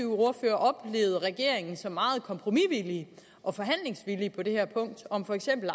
ordfører oplevede regeringen som meget kompromisvillig og forhandlingsvillig på det her punkt om for eksempel